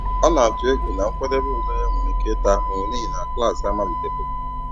Ọ na-atụ egwu na nkwadebe ule ya nwere ike ịta ahụhụ n'ihi na klaasị amalitebeghị.